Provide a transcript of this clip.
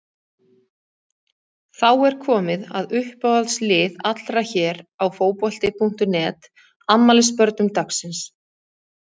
Þá er komið að uppáhalds lið allra hér á Fótbolti.net, afmælisbörnum dagsins.